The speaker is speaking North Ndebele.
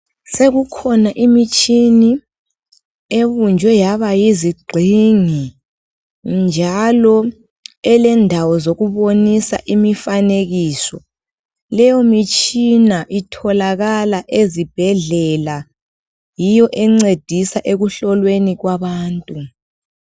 Sokukhona imitshini ebunjwe yabayizigxingi ,njalo elendawo zokubonisa imifanekiso. Leyo mitshina itholakala ezibhedlela yiyo encedisa ekuhlolweni kwabantu.